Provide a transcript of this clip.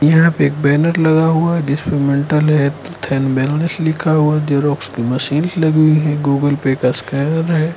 यहां पर बैनर लगा हुआ है जिसमें मेंटल हेल्थ एंड लिखा हुआ जेरॉक्स की मशीन लगी है गूगल पे स्कैनर है।